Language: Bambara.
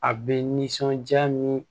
A bɛ nisɔndiya min